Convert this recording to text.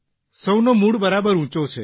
સૌનો મૂડ બરાબર ઉંચો છે